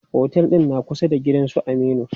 Otel ɗin na kusa da gidan su Aminu.